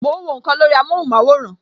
Mo ń wọ nkan lórí amóhùn maworan